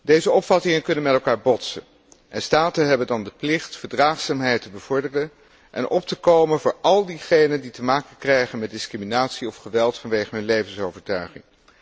Deze opvattingen kunnen met elkaar botsen en staten hebben dan de plicht verdraagzaamheid te bevorderen en op te komen voor al diegenen die te maken krijgen met discriminatie of geweld vanwege hun levensovertuiging.